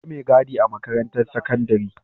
Akwai me gadi a makarantar sakandari